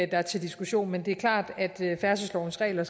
der er til diskussion men det er klart at færdselslovens regler